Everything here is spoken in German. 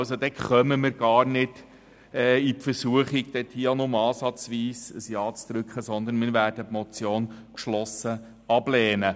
Hier kommen wir gar nicht in Versuchung, auch nur ansatzweise ein Ja zu drücken, sondern wir werden die Motion geschlossen ablehnen.